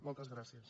moltes gràcies